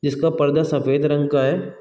जिसका पर्दा सफेद रंग का है।